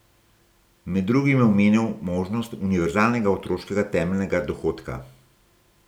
Med drugim je omenil možnost univerzalnega otroškega temeljnega dohodka.